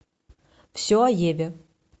все о еве